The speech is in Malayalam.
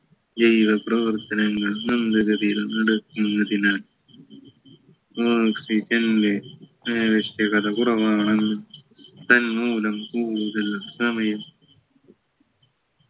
ജൈവ പ്രവർത്തനങ്ങൾ മന്ദഗതിയിൽ നടക്കുന്നതിനാൽ hospital ലെ കുറവാണല്ലോ തന്മൂലം കൂടുതൽ സമയം